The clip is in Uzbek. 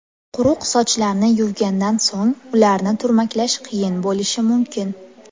Quruq sochlarni yuvgandan so‘ng ularni turmaklash qiyin bo‘lishi mumkin.